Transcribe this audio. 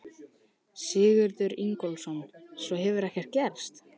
Sigurður Ingólfsson: Svo hefur ekkert gerst?